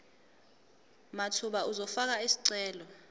mathupha uzofaka isicelo